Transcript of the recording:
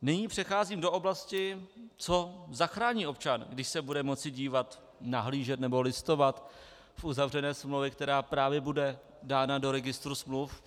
Nyní přecházím do oblasti, co zachrání občan, když se bude moci dívat, nahlížet nebo listovat v uzavřené smlouvě, která právě bude dána do registru smluv.